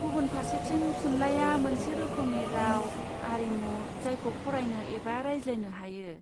गुबुन फारसेथिं थुनलाइआ मोनसे रोखोमनि राव आरिमु जायखौ फरायनो एबा रायज्लायनो हायो।